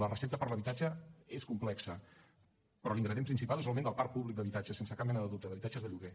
la recepta per a l’habitatge és complexa però l’ingredient principal és l’augment del parc públic d’habitatges sense cap mena de dubte d’habitatges de lloguer